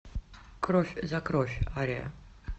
кровь за кровь ария